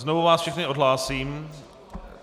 Znovu vás všechny odhlásím.